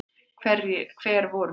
Hver voru þau?